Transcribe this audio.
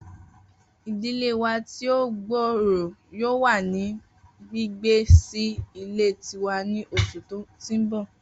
Idile wa ti o gbooro yoo wa ni gbigbe si ile tiwa ni oṣu ti n bọ